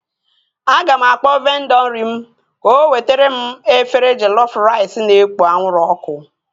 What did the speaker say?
Aga m akpọọ vendọ nri m ka o wetere m efere jellof rice na-ekpo anwụrụ ọkụ